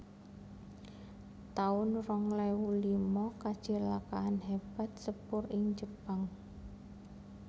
taun rong ewu lima Kacilakan hébat sepur ing Jepang